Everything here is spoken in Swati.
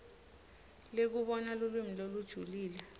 lekubona lulwimi lolujulile